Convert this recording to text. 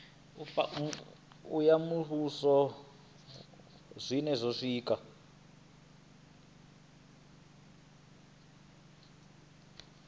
ya muvhuso na zwiṅwe zwiko